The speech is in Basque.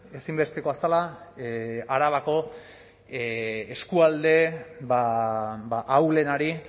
ezinbestekoa zela arabako eskualde ahulenari